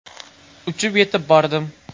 Uchib yetib bordim.